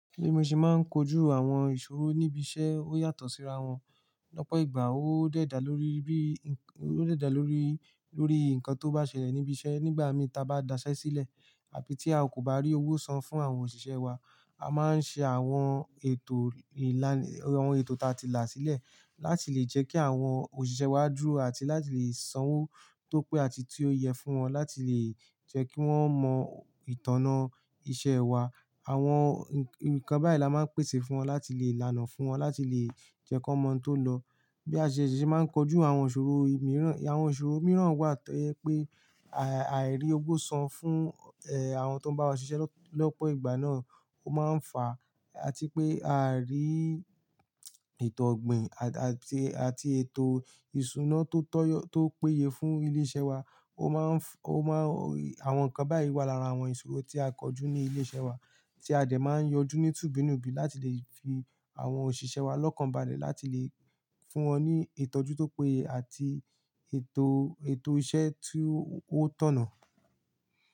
Bi mo se máa ń kojú àwọn ìṣòro níbi iṣẹ́ ó yàtọ̀ síra wọn. Lọ́pọ̀ ìgbà ó de dà lórí bi, ó de da lórí, lórí nǹkan tó bá ṣẹlẹ̀ níbi iṣẹ́. Nígbà mi ta bá daṣẹ́ sílẹ̀ àbí tí a kò bá rí owó san fún àwọn òṣìṣẹ́ wa, a máa ń ṣe àwọn ètò ìlaná, àwọn ètò ta ti là sílẹ̀ láti lè jẹ́ kí àwọn òṣìṣẹ́ wa dúró àti láti lè sanwó tó pé àti tí ó yẹ fún wọn láti lè jẹ́ kí wọ́n mọ ìtànná iṣẹ́ wa. Àwọn nǹkan báyìí la máa ń pèsè fún wọn láti lè lànà fún wọn láti lè jẹ́ kí wọ́n mọ to lọ. Bí a ṣe ṣèṣì máa ń kojú àwọn ìṣòro mìíràn, àwọn ìṣòro mìíràn wà tó yẹ pé àìrí owó san fún àwọn tó bá wá ṣiṣẹ́ lọ́pọ̀ ìgbà náà ó máa ń fà á. Àti pé àarí ìtọ̀gbìn àti, àti ètò ìṣúná tó tọ́ yọ tó péye fún ilé-iṣẹ́ wa ó máa ń, ó máa ń Àwọn nǹkan báyìí wà lára àwọn ìṣòro tí a kojú ní ilé-iṣẹ́ wa tí a dẹ̀ máa ń yanjú nítùbínúbi láti lè fi àwọn òṣìṣẹ́ wa lọ́kàn balẹ̀ láti lè fún wọn ní ìtọ́jú tó péye àti ètò, ètò iṣẹ́ tí ó tọ̀nà.